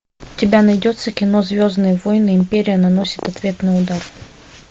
у тебя найдется кино звездные войны империя наносит ответный удар